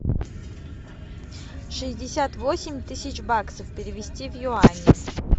шестьдесят восемь тысяч баксов перевести в юани